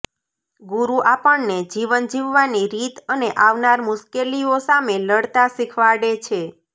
ગુરુ આપણને જીવન જીવવાની રીત અને આવનાર મુશ્કેલીઓ સામે લડતા શિખવાડે છે